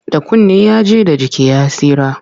Da kunne ya ji, da jiki ya tsira.